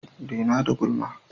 Dena da gulma!